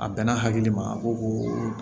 A bɛnna hakili ma a ko ko